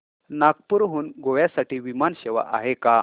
नागपूर हून गोव्या साठी विमान सेवा आहे का